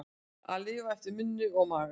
Að lifa eftir munni og maga